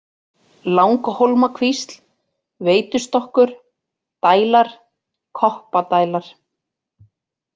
Langhólmakvísl, Veitustokkur, Dælar, Koppadælar